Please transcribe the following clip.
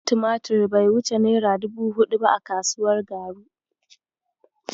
Kwandon tumatir bai wuce naira dubu huɗu ba a kasuwar Garu.